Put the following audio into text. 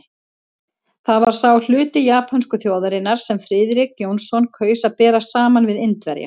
Það var sá hluti japönsku þjóðarinnar, sem Friðrik Jónsson kaus að bera saman við Indverja.